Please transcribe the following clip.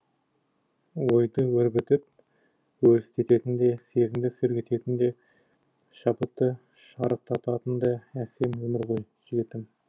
ойды өрбітіп өрістететін де сезімді сергітетін де шабытты шарықтататын да әсем өмір ғой жігітім